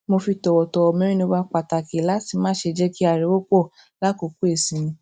mo fi tòwòtòwò mẹnuba pàtàkì láti má ṣe jé kí ariwo pò lákòókò ìsinmi